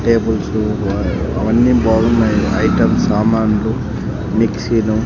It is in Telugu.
టేబుల్సు అ అవని బాగున్నాయి ఐటమ్ సామాన్లు మిక్సిలు .